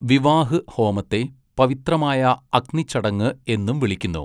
വിവാഹ് ഹോമത്തെ 'പവിത്രമായ അഗ്നി ചടങ്ങ്' എന്നും വിളിക്കുന്നു.